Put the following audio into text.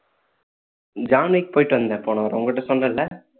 John Wick போயிட்டு வந்தேன் போன வாரம் உன் கிட்ட சொன்னேன் இல்ல